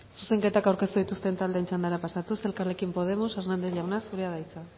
zuzenketak aurkeztu dituzten taldeen txandara pasatuz elkarrekin podemos hernández jauna zurea da hitza